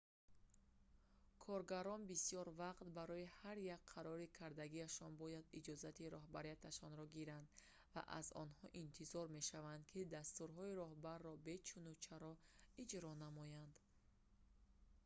коргарон бисёр вақт барои ҳар як қарори кардагиашон бояд иҷозати роҳбарашонро гиранд ва аз онҳо интизор мешавад ки дастурҳои роҳбарро бечуну чаро иҷро намоянд